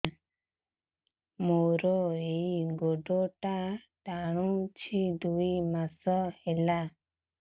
ମୋର ଏଇ ଗୋଡ଼ଟା ଟାଣୁଛି ଦୁଇ ମାସ ହେଲା